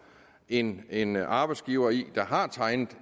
en en arbejdsgiver der har tegnet